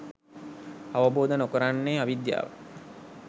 අවබෝධ නොකරන්නේ අවිද්‍යාවයි.